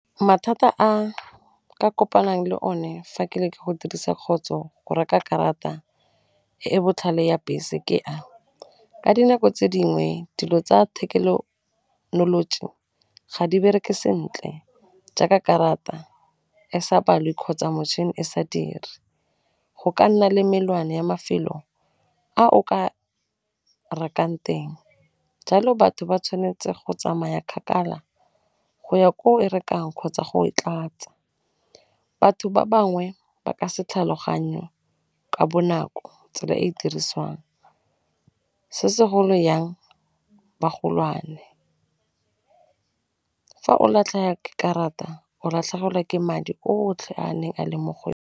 Mathata a ka kopanang le o ne fa ke le ke go dirisa kgotso go reka karata e e botlhale ya bese ke a, ka dinako tse dingwe dilo tsa ga di bereke sentle jaaka karata e sa balwe kgotsa mochine e sa dire, go ka nna le melwane ya mafelo a o ka rekang teng jalo batho ba tshwanetse go tsamaya kgakala go ya ko e rekang kgotsa go e tlatsa, batho ba bangwe ba ka se tlhaloganyo ka bonako tsela e e dirisiwang, se se golo yang bagolwane. Fa o latlha karata o latlhegelwa ke madi otlhe a neng a leng mo go .